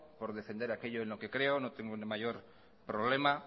por defender en aquello en lo que creo no tengo mayor problema